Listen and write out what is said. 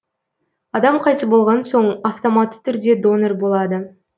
адам қайтыс болған соң автоматты түрде донор болады